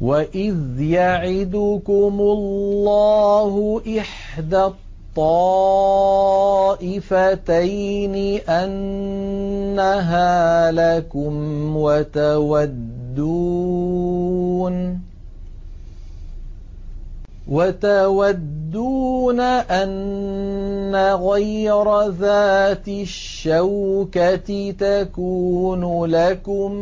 وَإِذْ يَعِدُكُمُ اللَّهُ إِحْدَى الطَّائِفَتَيْنِ أَنَّهَا لَكُمْ وَتَوَدُّونَ أَنَّ غَيْرَ ذَاتِ الشَّوْكَةِ تَكُونُ لَكُمْ